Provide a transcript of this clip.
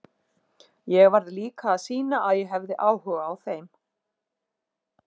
Ég varð líka að sýna að ég hefði áhuga á þeim.